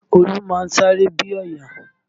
Olú máa ń sáré bí ọ̀yà